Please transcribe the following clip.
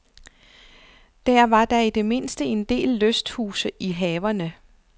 Der var da i det mindste en del lysthuse i haverne.